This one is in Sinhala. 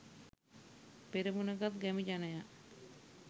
පෙරමුණ ගත් ගැමි ජනයා